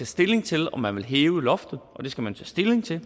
stilling til om man vil hæve loftet og det skal man tage stilling til